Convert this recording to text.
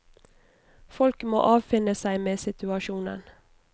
Folk må avfinne seg med situasjonen.